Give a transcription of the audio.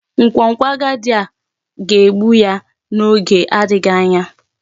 Nkwonkwo agadi a ga-egbu ya n'oge adịghị anya.